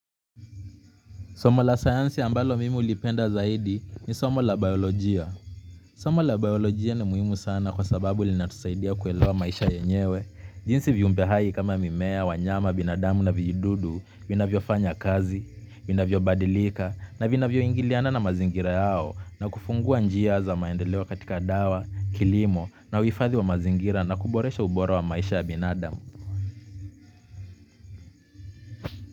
Somo la science ambalo mimi ulipenda zaidi ni somo la biolojia. Somo la biolojia ni muhimu sana kwa sababu linatusaidia kuelewa maisha yenyewe. Jinsi viumbe hai kama mimea, wanyama, binadamu na vijidudu, vinavyofanya kazi, vinavyobadilika na vinavyo ingiliana na mazingira yao na kufungua njia za maendeleo katika dawa, kilimo na uifadhi wa mazingira na kuboresha ubora wa maisha ya binadamu.